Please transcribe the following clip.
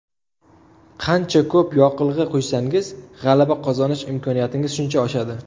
Qancha ko‘p yoqilg‘i quysangiz g‘alaba qozonish imkoniyatingiz shuncha oshadi.